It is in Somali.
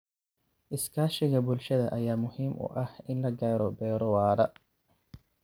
Iskaashiga bulshada ayaa muhiim u ah in la gaaro beero waara.